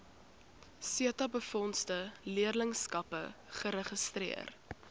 setabefondse leerlingskappe geregistreer